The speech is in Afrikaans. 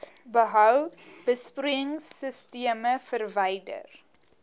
behou besproeiingsisteme verwyder